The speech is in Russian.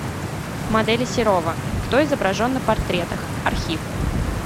модели серова кто изображен на портретах архив